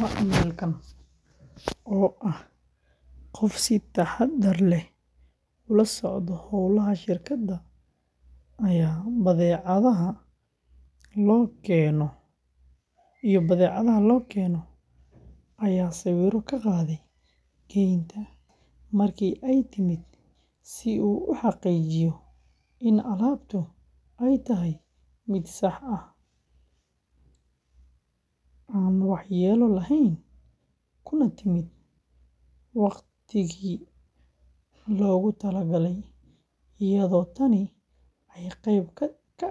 Macmiilkan, oo ahaa qof si taxaddar leh ula socda hawlaha shirkadda iyo badeecadaha loo keeno, ayaa sawirro ka qaaday geynta markii ay timid si uu u xaqiijiyo in alaabtu ay tahay mid sax ah, aan waxyeello lahayn, kuna timid waqtigii loogu talagalay, iyadoo tani ay qeyb ka